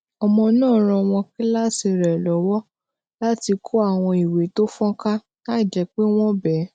ọmọ náà ran ọmọ kíláàsì rè kan lówó láti kó àwọn ìwé tó fonka láìjé pé wón béè